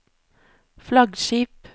flaggskip